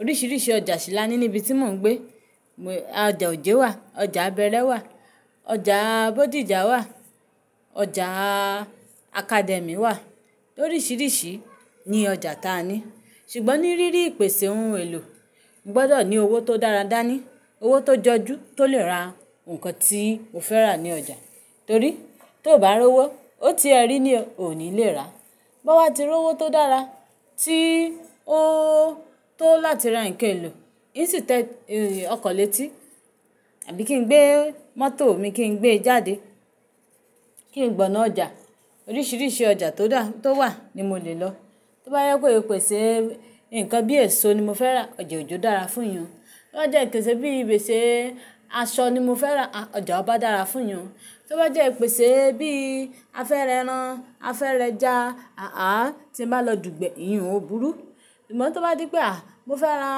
Oríṣiríṣi ọjà sí la ní ní ibi tí mò ń gbé. Ọjà Ojé wà, ọjà Abẹ́rẹ́ wà, ọjà Bódìjà wà, ọjà Academy wà, oríṣiríṣi ni ọjà táa ni. Ṣùgbọ́n ní rírí ìpèsè ohun èlò, mo gbọdọ̀ ní owó tó dára dá ní, owó tó jọjú tó lè ra ǹkan tí mo fẹ́ rà ní ọjà. Torí tó bá rówó, ó ti ẹ rí ní ò ní lè rà. Báwa tí rówó tó dára tí ó tó láti ra nke èlò, insí tò ọkàn létí àbí kí n gbé mọ́tò mi kí n gbé jáde kí n gbọná ọjà. Oríṣiríṣi ọjà tó dà, tó wà ni mo lè lọ. Tó bá yẹ pé ìpèsè nǹkan bí èso ni mo fẹ́ rà, ọjà Ojọ́ dára fún iyàn. Tó bá jẹ́ ìpèsè bí ìpèsè aṣọ ni mo fẹ́ rà, à, ọjà Aba dára fún iyàn. Tó bá jẹ́ ìpèsè bí a fẹ́ rẹran, a fẹ́ rẹja, àà, tí ń bá lọ Dùgbẹ̀, ìhín ò búrú. Ìgbà tó bá dí pé, à, mo fẹ́ ra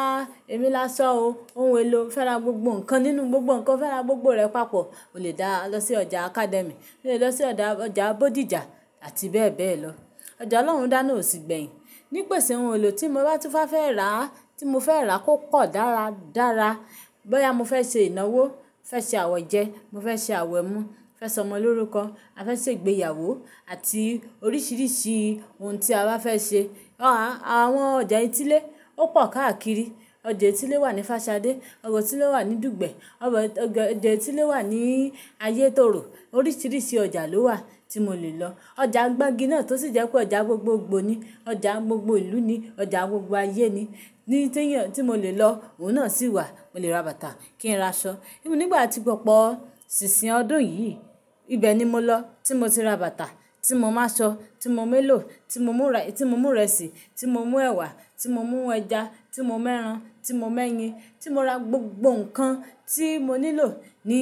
ẹ̀ló lásó o, ohun èlò, fẹ́ ra gbogbo ǹkan nínú gbogbo ǹkan, fẹ́ ra gbogbo rẹ̀ papọ̀, o lè dá lọ sí ọjà Academy, o lè lọ sí ọjà, ọjà Bódìjà àti bẹ́ẹ̀ bẹ́ẹ̀ lọ. Ọjà Ọlọ́run dáná ò sí gbẹ̀yìn. Ní ìpèsè ohun èlò tí mo bá túfá fẹ́ rà, tí mo fẹ́ rà kò pọ̀ dára, dára. Báwa ya mo fẹ́ ṣe ìnáwó, fẹ́ ṣe àwẹ̀jẹ, mo fẹ́ ṣe àwẹ̀ mú, fẹ́ sọmọ lórúkọ àfẹ́ ṣe ìgbéyàwó àti oríṣiríṣi ohun tí a bá fẹ́ ṣe, aà, àwọn ọjà etílé ó pọ̀ káàkiri. Ọjà etílé wà ní Fáṣadé, ọjà etílé wà ní Dùgbẹ̀, ọjà etílé wà ní Ayétoro. Oríṣiríṣi ọjà ló wà tí mo lè lọ. Ọjà gbági náà tó sì jẹ́ pé ọjà gbogbogbò ni, ọjà gbogbo ìlú ni, ọjà gbogbo ayé ni, ní tí yàn, tí mo lè lọ òun náà sì wà. Mo lè ra bàtà kí n ra aṣọ. Bí i nígbà tí Pọ̀pọ̀ ṣìṣìn ọdún yìí, ibẹ̀ ni mo lọ. Tí mo ti ra bàtà, tí mo máa ṣọ, tí mo mò mèlò, tí mo mú, tí mo mú ìrẹsì, tí mo mú ẹ̀wà, tí mo mú ẹja, tí mo máa ń ran, tí mo mè ń yin, tí mo ra gbogbo ǹkan tí mo nílò ní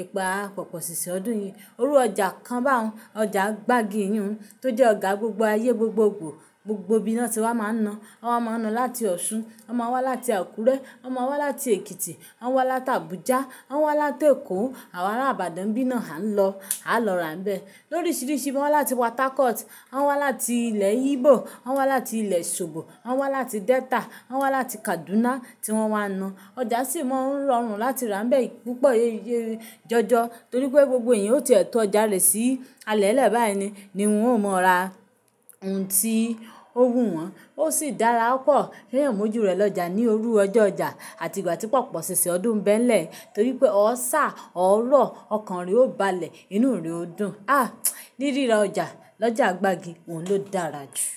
ìpa Pọ̀pọ̀ ṣìṣìn ọdún yìí. Orú ọjà kan bá òun, ọjà gbági ìhín òun tó jẹ́ ọjà gbogbo ayé gbogbogbò. Gbogbo ìbíná tí wá máa ń na. Wọ́n máa ń na láti Ọ̀ṣun, wọ́n máa wá láti Àkúrẹ́, wọ́n máa wá láti Èkìtì, wọ́n máa wá láti Abuja, wọ́n máa wá láti Èkó, àwa ará Ìbàdàn bí ná a ń lọ, á lọ ra níbẹ̀. Lóríṣiríṣi wọ́n wá láti Port Harcourt, wọ́n wá láti ilẹ̀ Igbo, wọ́n wá láti ilẹ̀ Ṣòbò, wọ́n wá láti Delta, wọ́n wá láti Kaduna tí wọ́n wá na. Ọjà sì mọ́ ń rọrùn láti ra níbẹ̀ púpọ̀ jọjọ. Torí pé gbogbo èèyàn ó ti tọ́ ọjà rè sí alẹ́lẹ́ báyìí ni wọ́n ó mọ ra ohun tí ó wù wọ́n. Ó sì dára pọ̀. Ìyẹn mójú rẹ̀ lọ́jà ní orú ọjọ́ ọjà àti ìgbà tí Pọ̀pọ̀ ṣìṣìn ọdún ń bẹ́ n lẹ̀ torí pé ọ sá, ọ rọ̀, ọkàn rẹ ó balẹ̀, inú rẹ ò dùn. À, níríra ọjà, lọjà gbági òun ló dára jù.